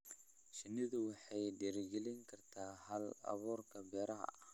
Shinnidu waxay dhiirigelin kartaa hal-abuurka beeraha.